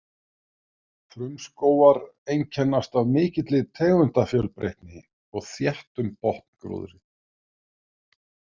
Frumskógar einkennast af mikilli tegundafjölbreytni og þéttum botngróðri.